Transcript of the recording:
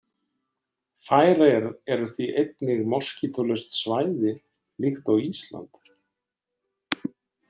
Færeyjar eru því einnig moskítólaust svæði líkt og Ísland.